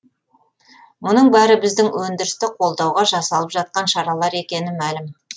мұның бәрі біздің өндірісті қолдауға жасалып жатқан шаралар екені мәлім